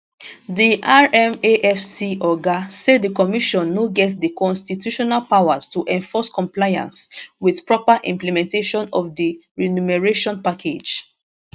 di rmafc oga say di commission no get di constitutional powers to enforce compliance wit proper implementation of di remuneration package